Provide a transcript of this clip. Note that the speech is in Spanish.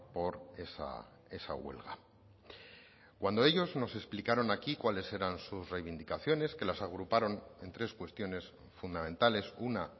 por esa huelga cuando ellos nos explicaron aquí cuáles eran sus reivindicaciones que las agruparon en tres cuestiones fundamentales una